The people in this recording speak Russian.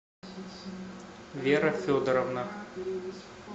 вера федоровна